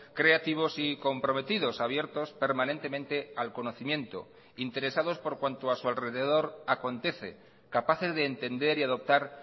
creativos y comprometidos abiertos permanentemente al conocimiento interesados por cuanto a su alrededor acontece capaces de entender y adoptar